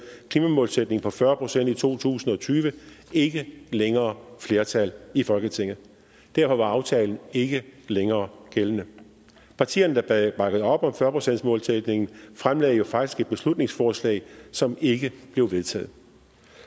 klimamålsætning på fyrre procent i to tusind og tyve ikke længere flertal i folketinget derfor var aftalen ikke længere gældende partierne der der bakkede op om fyrre procentsmålsætningen fremsatte jo faktisk et beslutningsforslag som ikke blev vedtaget